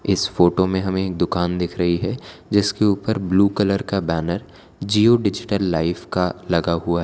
इस फोटो में हमे एक दुकान दिख रही है जिसके ऊपर ब्ल्यू कलर का बैनर जिओ डिजिटल लाइफ का लगा हुआ है।